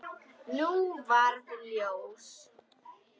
Nú varð ljós.